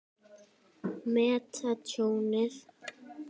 Meta tjónið.